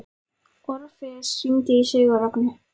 Orfeus, hringdu í Sigurrögnu.